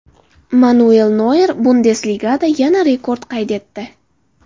Manuel Noyer Bundesligada yana rekord qayd etdi.